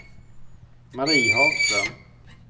Mari Hagström